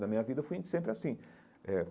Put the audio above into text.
Na minha vida, eu fui sempre assim eh.